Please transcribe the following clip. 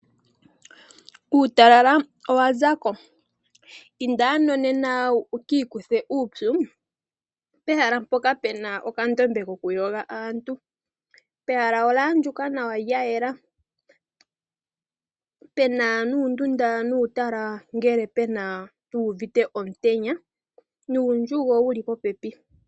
Uutalala owazako, inda ano nena wu ki ikuthe uupyu pehala mpoka pena okandombe kokuyoga aantu. Pehala olyaandjuka nawa lyayela, pena nundunda nuutala ngele aantu yu uvite omutenya nuundjugo wuli popepi.